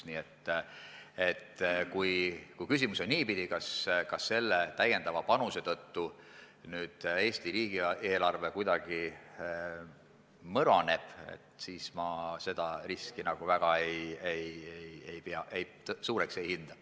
Nii et kui küsimus on selles, kas täiendava panuse tõttu Eesti riigi eelarve kuidagi mõraneb, siis seda riski ma väga suureks ei hinda.